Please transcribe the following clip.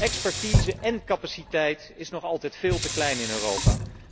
Expertise én capaciteit is zijn nog altijd veel te klein in Europa.